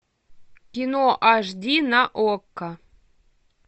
кино аш ди на окко